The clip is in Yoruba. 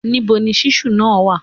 Níbo ni ṣíṣù náà wa